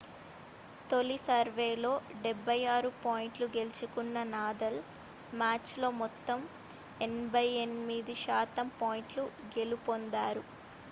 తొలి సెర్వ్లో 76 పాయింట్లు గెలుచుకున్న నాదల్ మ్యాచ్లో మొత్తం 88% పాయింట్లు గెలుపొందాడు